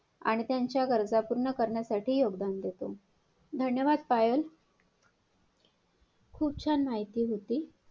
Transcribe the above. आणि त्यांच्या गरजा पूर्ण करण्यासाठी योगदान देतो धन्यवाद पायल खूप छान माहिती होती.